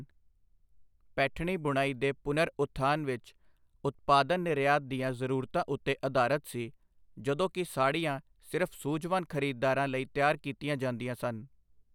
ਪੈਠਣੀ ਬੁਣਾਈ ਦੇ ਪੁਨਰ ਉਥਾਨ ਵਿੱਚ, ਉਤਪਾਦਨ ਨਿਰਯਾਤ ਦੀਆਂ ਜ਼ਰੂਰਤਾਂ ਉੱਤੇ ਅਧਾਰਤ ਸੀ, ਜਦੋਂ ਕਿ ਸਾੜੀਆਂ ਸਿਰਫ਼ ਸੂਝਵਾਨ ਖਰੀਦਦਾਰਾਂ ਲਈ ਤਿਆਰ ਕੀਤੀਆਂ ਜਾਂਦੀਆਂ ਸਨ।